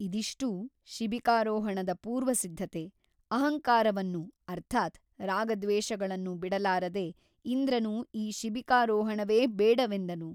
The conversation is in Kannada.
ಇದಿಷ್ಟೂ ಶಿಬಿಕಾರೋಹಣದ ಪೂರ್ವಸಿದ್ಧತೆ ಅಹಂಕಾರವನ್ನು ಅರ್ಥಾತ್ ರಾಗದ್ವೇಷಗಳನ್ನು ಬಿಡಲಾರದೆ ಇಂದ್ರನು ಈ ಶಿಬಿಕಾರೋಹಣವೇ ಬೇಡವೆಂದನು.